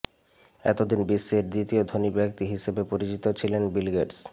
এতদিন বিশ্বের দ্বিতীয় ধনী ব্যক্তি হিসেবে পরিচিত ছিলেন বিল গেটস